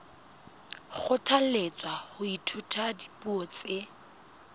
kgothalletswa ho ithuta dipuo tse